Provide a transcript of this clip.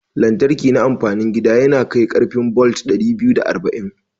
Lantriki na amfanin gida yanakai karfi bolt dari biyu da arba'in